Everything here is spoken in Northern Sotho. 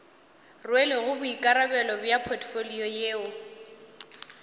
rwelego boikarabelo bja potfolio yeo